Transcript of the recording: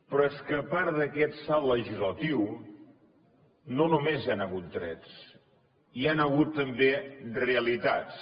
però és que a part d’aquest salt legislatiu no només hi han hagut drets hi han hagut també realitats